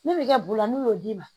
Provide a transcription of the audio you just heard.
Min bɛ kɛ bula n'u y'o d'i ma